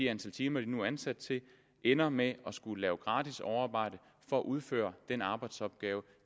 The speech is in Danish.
antal timer de nu er ansat til ender med at skulle lave gratis overarbejde for at udføre den arbejdsopgave